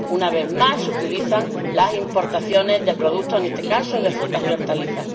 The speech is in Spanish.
Una vez más se utilizan las importaciones de productos, en este caso de frutas y hortalizas.